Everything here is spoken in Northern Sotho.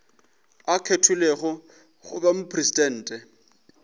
a kgethilwego go ba mopresidente